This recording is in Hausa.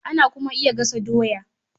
Ana kuma iya gasa doya